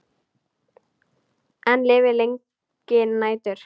Enn lifir lengi nætur.